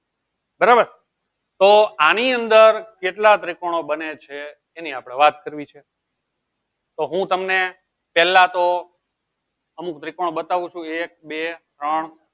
બરાબર તો આની અંદર કેટલા ત્રિકોણ બને છે એની આપણે વાત કરવી છે તો હું તમને પહેલા તો અમુક ત્રિકોણ બતાવું છું એક બે ત્રણ